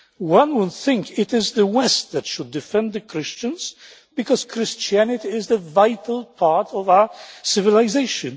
One would think it is the West that should defend Christians because Christianity is a vital part of our civilisation.